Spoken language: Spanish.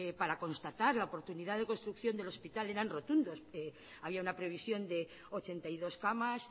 para constatar la oportunidad de construcción del hospital eran rotundos abía una previsión de ochenta y dos camas